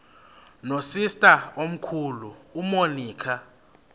nosister omkhulu umonica